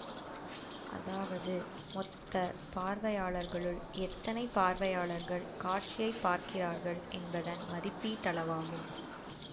அதாவது மொத்த பார்வையாளர்களுள் எத்தனை பார்வையாளர்கள் காட்சியை பார்க்கிறார்கள் என்பதன் மதிப்பீட்டளவாகும்